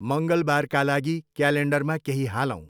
मङ्गलबारका लागि क्यालेन्डरमा केही हालौँ।